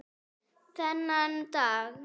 Þennan dag.